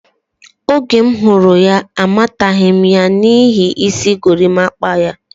Oge m hụrụ ya, amataghi ya n'ihi isi gorimakwa ya.